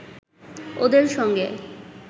ওদের সঙ্গে